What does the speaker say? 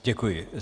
Děkuji.